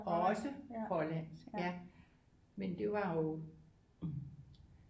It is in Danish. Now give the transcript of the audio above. Også Hollandsk ja men det var jo